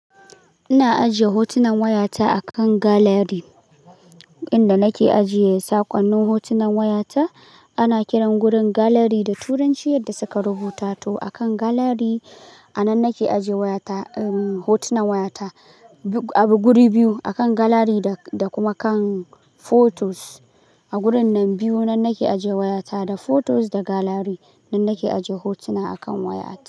Ina ajiye hotunan wayata a kan gallery. Inda nake ajiye saƙonnin hotunan wayata, ana kiran gurin gallery da Turanci yadda suka rubuta to. A kan gallery anan nake ajiye wayata, um, hotunan wayata. A bu guri biyu, a kan gallery da kuma kan photos. A wurin nan biyu nan nake ajiye wayata, da photos da gallery nan nake ajiye hotuna a kan wayata.